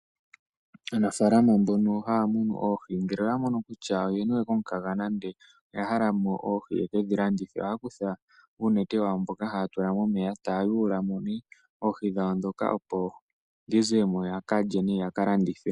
Aanafalama mbono haya munu oohi ngele oya mono kutya oye niwe komukaga nande oya hala mo oohi yekedhi landitha. Oha kutha uunete wayo mboka haa tula momeya taa yula mo ne oohi dhawo ndhoka opo dhi ze mo ya ka lye nenge ya ka landithe.